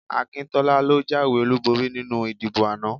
Akíntọ́lá ló jáwé olúborí nínú ìdìbò ana